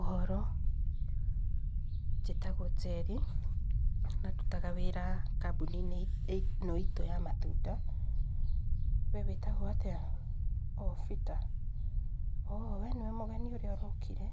Ũhoro, njĩtagwo Njeri, na ndutaga wĩra kambuni-inĩ ĩno itũ ya matunda. We witagwo atĩa? O Bita, Oo, we nĩwe mũgeni ũrĩa ũrokire?